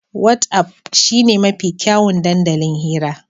Wat'af shine mafi kyawun dandalin hira.